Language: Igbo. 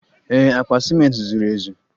Ee, akpa ciment zuru ezu.